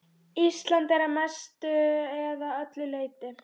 Ísland að mestu eða öllu leyti.